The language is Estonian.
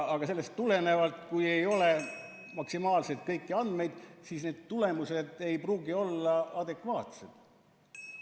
Sellest tulenevalt, kui ei ole maksimaalselt kõiki andmeid, siis need tulemused ei pruugi olla adekvaatsed.